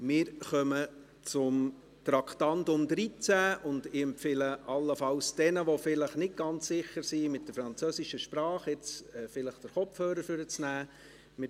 Wir kommen zum Traktandum 13 und ich empfehle allenfalls denen, die vielleicht nicht ganz sicher sind mit der französischen Sprache, jetzt vielleicht den Kopfhörer hervor zu nehmen.